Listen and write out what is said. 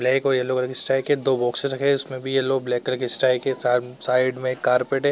Black और yellow colour की strike है। दो बॉक्सेस रखे हैं इसमें भी येलो ब्लैक कलर की स्ट्राइक है। साई साइड में एक कारपेट है।